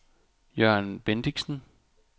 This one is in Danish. Jørgen Bendixen